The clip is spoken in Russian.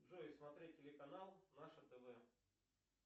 джой смотреть телеканал наше тв